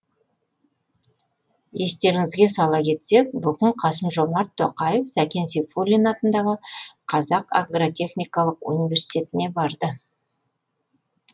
естеріңізге сала кетсек бүгін қасым жомарт тоқаев сәкен сейфуллин атындағы қазақ агротехникалық университетіне барды